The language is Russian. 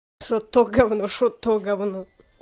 что то говно что то говно